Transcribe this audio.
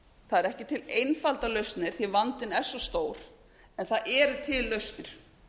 það eru ekki til einfaldar lausnir því að vandinn er svo stór en það eru til lausnir